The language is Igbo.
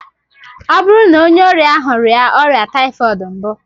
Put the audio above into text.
Ọ bụrụ na onye ọrịa ahụ rịa ọrịa typhoid mbụ?